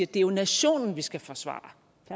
det jo er nationen vi skal forsvare